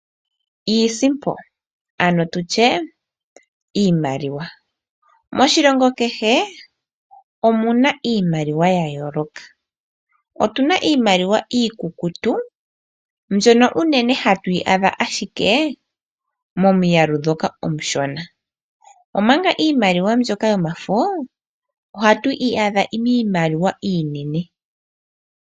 Iisimpo (iimaliwa) moshilongo kehe omu na iimaliwa ya yooloka. Otu na iimaliwa iikukutu, mbyono unene hatu yi adha ashike momiyalu ndhoka omishona. Omanga iimaliwa mbyoka yomafo ohatu yi adha miimaliwa iinene.